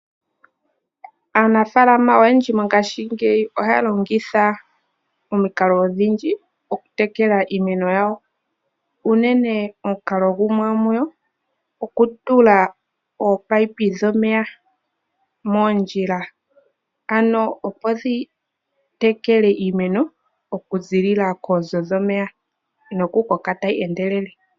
Aanafaalama oyendji ngaashi ngeyi ohaya longitha omikalo dha yooloka oku tekele iimeno yawo. Unene omukalo gumwe oku tula oopayipi dhomeya moondjila, ano opo dhi tekele iimeno oku ziilila kooonzo dhomeya, nokukoka tayi endelele.